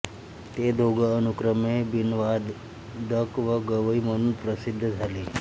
ते दोघे अनुक्रमे बीनवादक व गवई म्हणून प्रसिद्ध झाले